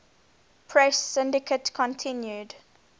press syndicate continued